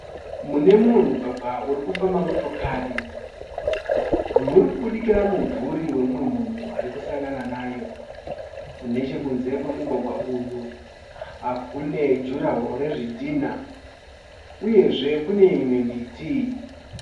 Munemumwe mugwagwa urikufamba motokari, murikubudikira mumvuri wemumwe munhu arikusangana nayo. Nechekunze kwemugwagwa uyu kune jurahoo rezvidhinha uyezve kune imwe miti.